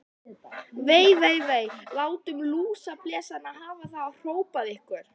Vei, vei, vei. látum lúsablesana hafa það hrópaði einhver.